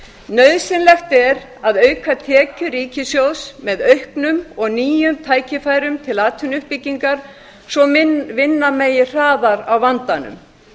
nauðsynlegt er að auka tekjur ríkissjóðs með auknum og nýjum tækifærum til atvinnuuppbyggingar svo að vinna megi hraðar á vandanum